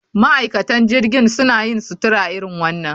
Ma'aikatan jirgin suna yin sutura irin wannan